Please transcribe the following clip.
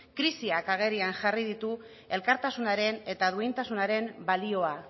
krisiak agerian jarri ditu elkartasunaren eta duintasunaren balioa